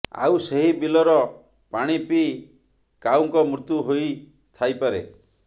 ଆଉ ସେହି ବିଲର ପାଣି ପିଇ କାଉଙ୍କ ମୃତ୍ୟୁ ହୋଇ ଥାଇପାରେ